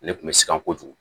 Ne kun bɛ siran kojugu